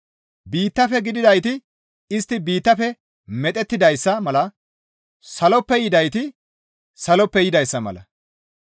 Biittafe gididayti istti biittafe medhettidayssa mala. Saloppe gididayti saloppe yidayssa mala.